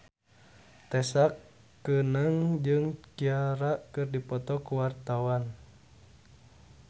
Tessa Kaunang jeung Ciara keur dipoto ku wartawan